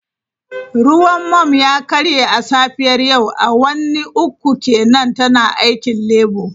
Ruwan mum ya karye a safiyar yau, awanni uku kenan tana aikin Labour.